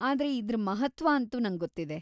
ಆದ್ರೆ ಇದ್ರ ಮಹತ್ತ್ವ ಅಂತೂ ನಂಗೊತ್ತಿದೆ.